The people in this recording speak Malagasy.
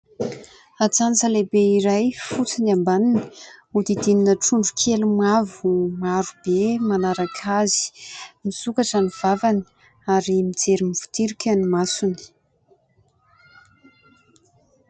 Atsantsa lehibe iray fotsy ny ambaniny hodidinina trondro kely mavo marobe manaraka azy, misokatra ny vavany ary mijery mivotirika ny masony.